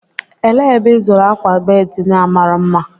Elee ebe ịzụrụ akwa bedị ndị a mara mma?